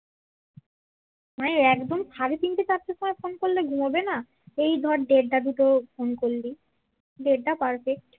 মানে একদম সাড়ে তিনটে চারটার সময় ফোন করলে ঘুমাবে না এই ধর দেরটা দুটো ফোন করলি দেরটা perfect